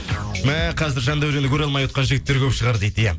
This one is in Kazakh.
мә қазір жандәуренді көре алмай отқан жігіттер көп шығар дейді иә